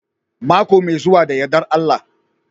Mako mai zuwa da yardar Allah